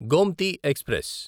Gomti express